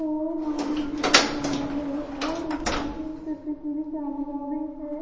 और नाम लिखा है टी_वी चैनल आदि --